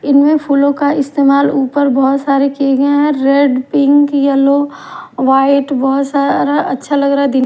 इनमें फूलों का इस्तेमाल ऊपर बहुत सारे किए गए हैं रेड पिंक येलो वाइट बहुत सारा अच्छा लग रहा है दिन --